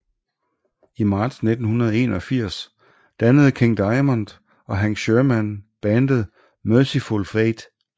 I marts 1981 dannede King Diamond og Hank Shermann bandet Mercyful Fate